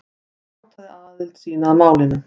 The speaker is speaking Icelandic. Hann játaði aðild sína að málinu